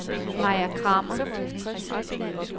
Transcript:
Maja Kramer